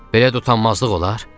Belə də utanmazlıq olar?